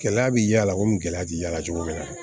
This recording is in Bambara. Gɛlɛya bi y'a la komi gɛlɛya ti y'a la cogo min na